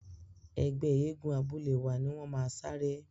Ẹgbẹ́ eégún abúlé wa ni wọ́n máa saré.